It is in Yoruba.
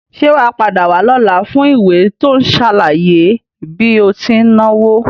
Sé wàá padà wá lọ́la fún ìwé tí ó n sàlàyé bí o ti náwo?